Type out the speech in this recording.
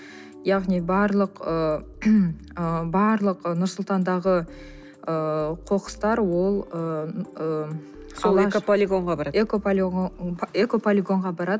яғни барлық ы ы барлық нұр сұлтандағы ыыы қоқыстар ол ыыы сол экополигонға барады экополигонға барады